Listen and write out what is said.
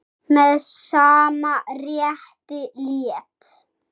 Með sama rétti lét